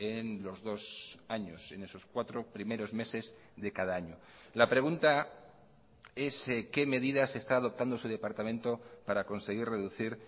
en los dos años en esos cuatro primeros meses de cada año la pregunta es qué medidas está adoptando su departamento para conseguir reducir